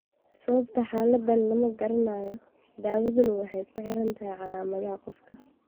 Sababta xaaladdan lama garanayo, daawaduna waxay ku xidhan tahay calaamadaha qofka.